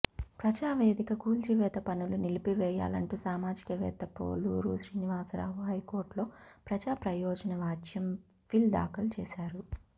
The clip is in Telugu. ప్రజావేదిక కూల్చివేత పనులు నిలిపివేయాలంటూ సామాజిక వేత్త పోలూరి శ్రీనివాసరావు హైకోర్టులో ప్రజాప్రయోజన వ్యాజ్యం పిల్ దాఖలు చేశారు